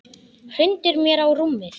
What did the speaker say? Hrindir mér á rúmið.